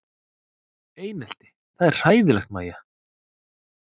Einelti það er hræðilegt Mæja?